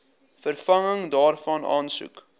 vervanging daarvan aansoek